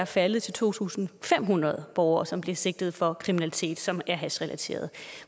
faldet til to tusind fem hundrede borgere som blev sigtet for kriminalitet som er hashrelateret